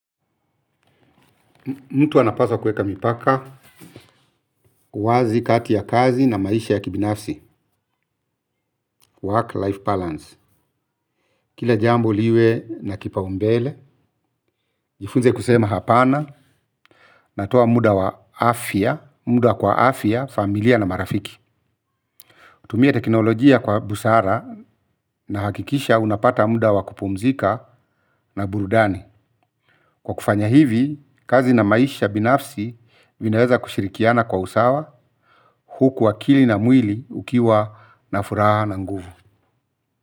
Mtu anapaswa kuweka mipaka wazi kati ya kazi na maisha ya kibinafsi, work life balance. Kila jambo liwe na kipa umbele, jifunze kusema hapana, natoa muda wa afya, muda kwa afya, familia na marafiki. Tumia teknolojia kwa busara na hakikisha unapata muda wa kupumzika na burudani. Kwa kufanya hivi, kazi na maisha binafsi vinaweza kushirikiana kwa usawa huku akili na mwili ukiwa na furaha na nguvu.